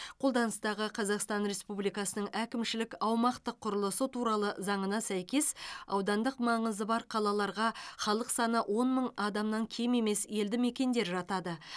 қолданыстағы қазақстан республикасының әкімшілік аумақтық құрылысы туралы заңына сәйкес аудандық маңызы бар қалаларға халық саны он мың адамнан кем емес елді мекендер жатады